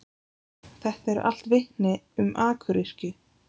Þetta eru allt vitni um akuryrkju.